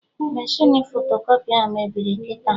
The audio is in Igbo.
Meshịn fotokọpị ahụ mebiri kịta